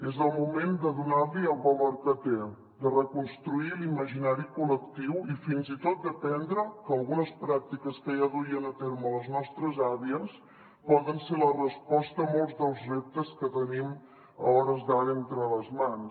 és el moment de donar·li el valor que té de reconstruir l’imaginari col·lectiu i fins i tot d’aprendre que algunes pràc·tiques que ja duien a terme les nostres àvies poden ser la resposta a molts dels reptes que tenim a hores d’ara entre les mans